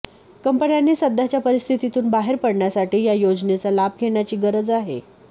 कंपन्यांनी सध्याच्या परिस्थितीतून बाहेर पडण्यासाठी या योजनेचा लाभ घेण्याची गरज आहे